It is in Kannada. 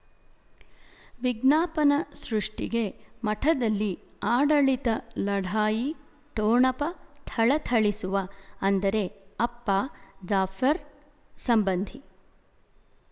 ವಿಜ್ಞಾಪನ ಸೃಷ್ಟಿಗೆ ಮಠದಲ್ಲಿ ಆಡಳಿತ ಲಢಾಯಿ ಠೊಣಪ ಥಳಥಳಿಸುವ ಅಂದರೆ ಅಪ್ಪ ಜಾಫರ್ ಸಂಬಂಧಿ